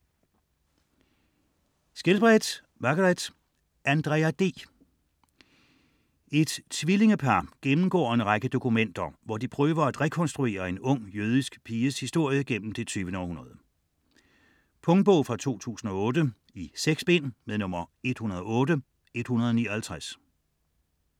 Skjelbred, Margaret: Andrea D Et tvillingepar gennemgår en række dokumenter, hvor de prøver at rekonstruere en ung jødisk piges historie gennem det 20. århundrede. Punktbog 108159 2008. 6 bind.